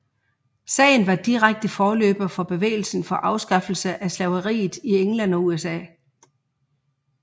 Sagen var direkte forløber for bevægelsen for afskaffelse af slaveriet i England og USA